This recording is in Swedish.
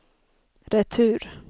retur